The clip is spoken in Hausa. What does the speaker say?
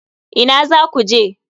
Ina zaku je?